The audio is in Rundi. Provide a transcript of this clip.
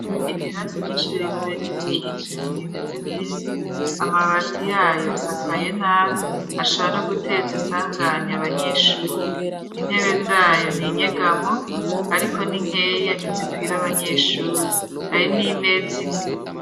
Ibirasa vyinshi leta yaryo mu kijima ntiimeze neza amabati yayo asakaye nabi ashara no guteza isanganya abanyeshuri intebe zayo ni inyegamo ariko n'inkeya ntizikwira abanyeshuri hari n'imezi imwe.